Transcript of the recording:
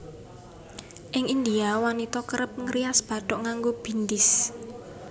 Ing India wanita kerep ngrias bathuk nganggo bindis